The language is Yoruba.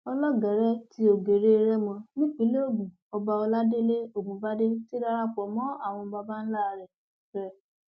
ọlọgẹrẹ ti ògèrè rẹmọ nípìnlẹ ogun ọba ọládélé ọgùnbàdé ti darapọ mọ àwọn baba ńlá rẹ rẹ